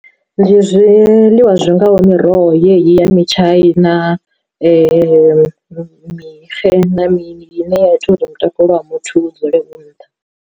Ndi zwiḽiwa zwi ngaho miroho yeyi ya mitshaina mixe na mini ine ya ita uri mutakalo wa muthu u dzule u nṱha.